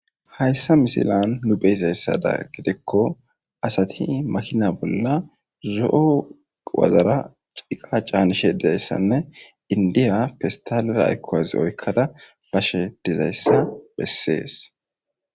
hayssa misilan nu beyizayssada gidekko asati makina bolla zo7o wazara ciqa caanishe dayssanne indiya pistalera ayikko wazi oykkada bashshe dizayssa bessee.